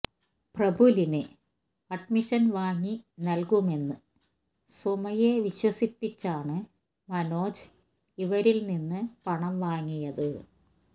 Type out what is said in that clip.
പ്രഫുലന് admission വാങ്ങി നല്കുമെന്ന് സുമയെ വിശ്വസിപ്പിച്ചാണ് മനോജ് ഇവരില് നിന്ന് പണം വാങ്ങിയത്